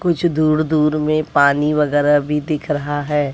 कुछ दूर दूर में पानी वगैरा भी दिख रहा है।